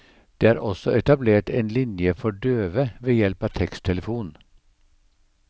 Det er også etablert en linje for døve ved hjelp av teksttelefon.